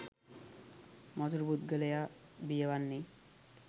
මසුරු පුද්ගලයා බිය වන්නේ